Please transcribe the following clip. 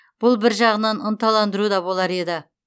бұл бір жағынан ынталандыру да болар еді